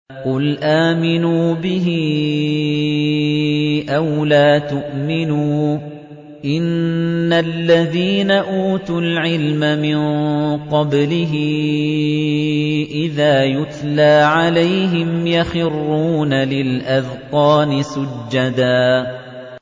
قُلْ آمِنُوا بِهِ أَوْ لَا تُؤْمِنُوا ۚ إِنَّ الَّذِينَ أُوتُوا الْعِلْمَ مِن قَبْلِهِ إِذَا يُتْلَىٰ عَلَيْهِمْ يَخِرُّونَ لِلْأَذْقَانِ سُجَّدًا